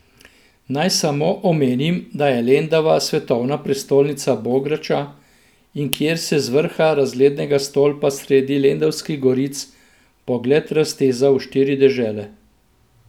Naj samo omenim, da je Lendava svetovna prestolnica bograča in kjer se z vrha razglednega stolpa sredi lendavskih goric pogled razteza v štiri dežele.